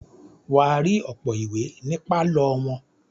wà á rí ọ̀pọ̀ ìwé ní pálọ̀ wọn.